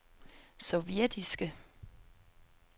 sovjetiske